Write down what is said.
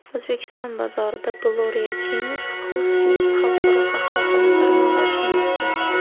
O‘zbekiston bozorida Gloria Jean’s Coffees xalqaro qahvaxona tarmog‘i ochilmoqda.